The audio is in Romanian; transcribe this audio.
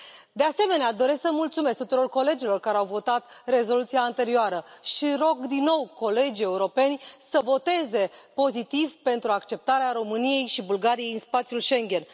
De asemenea, doresc să mulțumesc tuturor colegilor care au votat rezoluția anterioară și rog din nou colegii europeni să voteze pozitiv pentru acceptarea României și Bulgariei în spațiul Schengen.